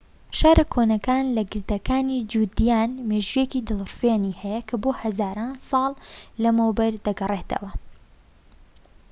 شارە کۆنەکە لە گردەکانی جودیان مێژوویەکی دڵفڕێنی هەیە کە بۆ هەزاران ساڵ لەمەوبەر دەگەڕێتەوە